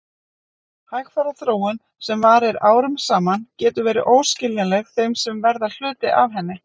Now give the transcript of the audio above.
Hægfara þróun sem varir árum saman getur verið óskiljanleg þeim sem verða hluti af henni.